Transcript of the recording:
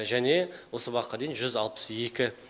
және осы уақытқа дейін жүз алпыс екі